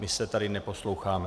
My se tady neposloucháme.